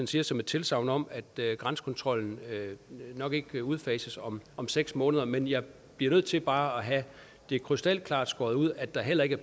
siger som et tilsagn om at grænsekontrollen nok ikke udfases om om seks måneder men jeg bliver nødt til bare at have det krystalklart skåret ud at der heller ikke